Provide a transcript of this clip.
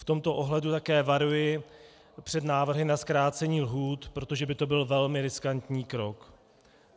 V tomto ohledu také varuji před návrhy na zkrácení lhůt, protože by to byl velmi riskantní krok.